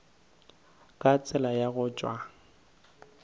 ka tsela ya go tšwa